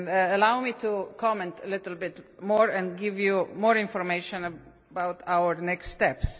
Allow me to comment a little bit more and give you more information about our next steps.